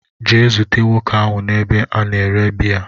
gaa zute nwoke ahu n'ebe a na-ere biya